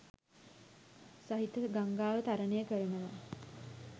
සහිත ගංගාව තරණය කරනවා.